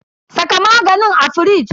Saka maganin a firiji.